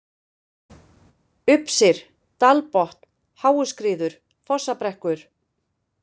Upsir, Dalbotn, Háuskriður, Fossabrekkur